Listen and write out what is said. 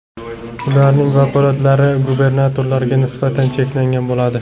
Ularning vakolatlari gubernatorlarga nisbatan cheklangan bo‘ladi.